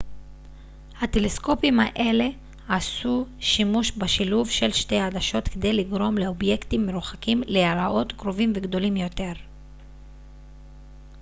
הטלסקופים האלה עשו שימוש בשילוב של שתי עדשות כדי לגרום לאובייקטים מרוחקים להיראות קרובים וגדולים יותר